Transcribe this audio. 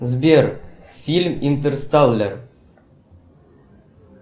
сбер фильм интерстеллар